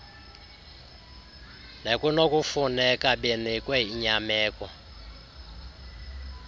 nekunokufuneka benikwe inyameko